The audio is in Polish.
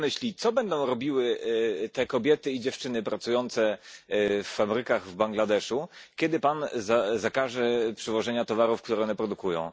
Jak Pan myśli, co będą robiły te kobiety i dziewczyny pracujące w fabrykach w Bangladeszu, kiedy Pan zakaże przywożenia towarów, które one produkują?